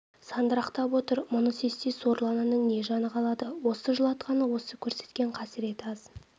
сандырақтап отыр мұны сезсе сорлы ананың не жаны қалады осы жылатқаны осы көрсеткен қасыреті аз